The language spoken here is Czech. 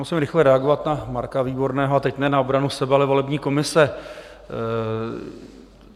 Musím rychle reagovat na Marka Výborného, a teď ne na obranu sebe, ale volební komise.